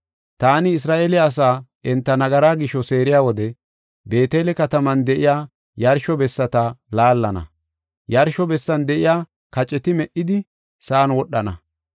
Taani Isra7eele asaa enta nagaraa gisho seeriya wode, Beetele kataman de7iya yarsho bessata laallana; yarsho bessan de7iya kaceti me77idi, sa7an wodhana.